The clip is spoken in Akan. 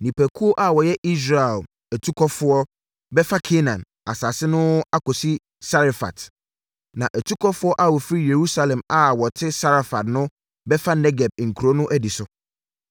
Nipakuo a wɔyɛ Israel atukɔfoɔ bɛfa Kanaan asase no akɔsi Sarefat; na atukɔfoɔ a wɔfiri Yerusalem a wɔte Safarad no bɛfa Negeb nkuro no adi so.